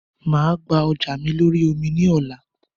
Máa gba ọjà mi lórí omi ni ọ̀la